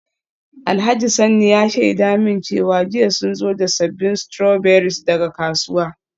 Alhaji Sanni ya shaida min cewa jiya sun zo da sabbin strawberries daga kasuwa.